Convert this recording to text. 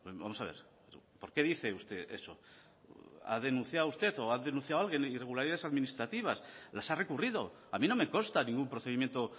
vamos a ver por qué dice usted eso ha denunciado usted o ha denunciado alguien irregularidades administrativas las ha recurrido a mí no me consta ningún procedimiento